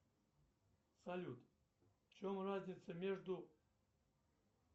салют в чем разница между